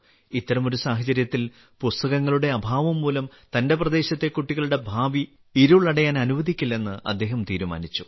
ഇത്തരമൊരു സാഹചര്യത്തിൽ പുസ്തകങ്ങളുടെ അഭാവം മൂലം തന്റെ പ്രദേശത്തെ കുട്ടികളുടെ ഭാവി ഇരുളടയാൻ അനുവദിക്കില്ലെന്ന് അദ്ദേഹം തീരുമാനിച്ചു